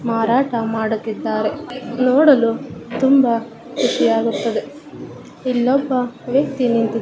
ಮಾರಾಟ ಮಾಡುತ್ತಿದ್ದಾರೆ ನೋಡಲು ತುಂಬಾ ಕುಹಿಯಾಗುತ್ತದೆ ಇಲ್ಲೊಬ ವ್ಯಕ್ತಿ ನಿಂತಿ.